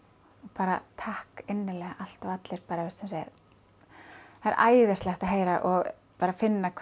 bara takk innilega allt og allir það er æðislegt að heyra og bara finna hvað